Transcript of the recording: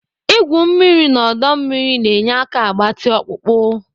Igwu mmiri n'ọdọ mmiri na-enye aka agbatị ọkpụkpọ.